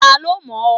Ta ló mọ̀ ọ́?